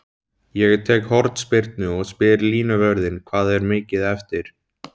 Ég tek hornspyrnu og spyr línuvörðinn hvað er mikið eftir?